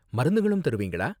மருந்துங்களும் தருவீங்களா?